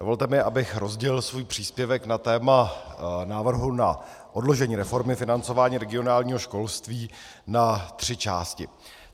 Dovolte mi, abych rozdělil svůj příspěvek na téma návrhu na odložení reformy financování regionálního školství na tři části.